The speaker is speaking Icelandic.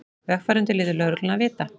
Vegfarendur létu lögregluna vita